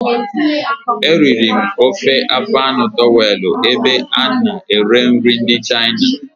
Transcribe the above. Eriri m ofe afọ anụ towelụ na ebe ana ere nri ndị Chịna